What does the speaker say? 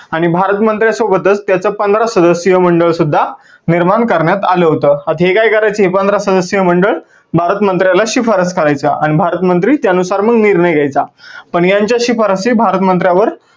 आणि भारत मंत्र्यासोबातच त्याच पंधरा सदस्यीय मंडळ सुद्धा निर्माण करण्यात आलं होतं. आता हे काय करायचे हे पंधरा सदस्यीय मंडळ भारत मंन्त्र्याला शिफारस करायच्या आणि भारत मंत्री त्या नुसार मग निर्णय घ्यायचा. पण यांच्या शिफारसी भारत मंत्र्यावर